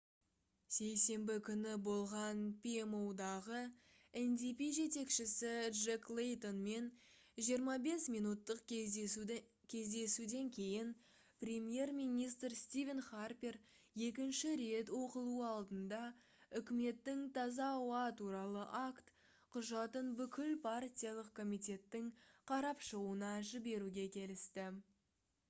сейсенбі күні болған pmo-дағы ndp жетекшісі джек лейтонмен 25 минуттық кездесуден кейін премьер-министр стивен харпер екінші рет оқылуы алдында үкіметтің «таза ауа туралы акт» құжатын бүкіл партиялық комитеттің қарап шығуына жіберуге келісті